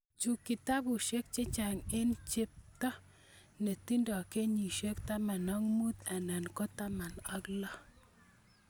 Chu kotabusiek chehcang eng' chepto ne tindo kenyisiek 15 anan 16.